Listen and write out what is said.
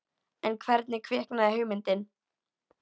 En hvernig kviknaði hugmyndin?